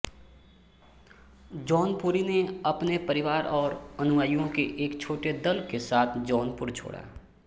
जौनपुरी ने अपने परिवार और अनुयायिओं के एक छोटे दल के साथ जौनपुर छोड़ा